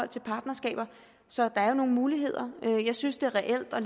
til partnerskaber så der er jo nogle muligheder jeg synes det er reelt at